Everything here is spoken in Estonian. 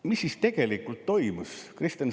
Mis siis tegelikult toimus?